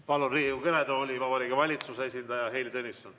Palun Riigikogu kõnetooli Vabariigi Valitsuse esindaja Heili Tõnissoni.